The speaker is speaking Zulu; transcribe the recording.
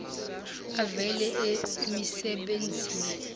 avela emise benzini